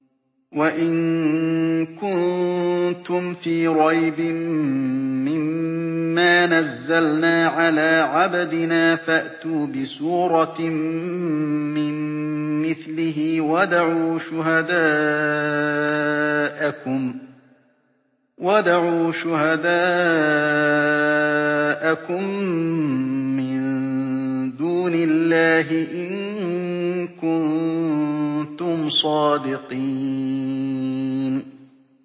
وَإِن كُنتُمْ فِي رَيْبٍ مِّمَّا نَزَّلْنَا عَلَىٰ عَبْدِنَا فَأْتُوا بِسُورَةٍ مِّن مِّثْلِهِ وَادْعُوا شُهَدَاءَكُم مِّن دُونِ اللَّهِ إِن كُنتُمْ صَادِقِينَ